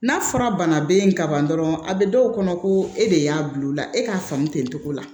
N'a fɔra bana be yen ka ban dɔrɔn a be dɔw kɔnɔ ko e de y'a bil'ola e k'a faamu ten cogo la